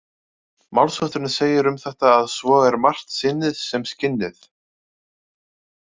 Málshátturinn segir um þetta að svo er margt sinnið sem skinnið.